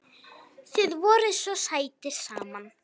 Þið voruð svo sætir saman.